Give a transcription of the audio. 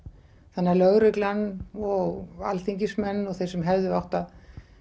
þannig að lögreglan og Alþingismenn og þeir sem hefðu átt að